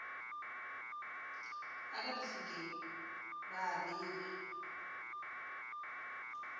ka difokeng ba e beya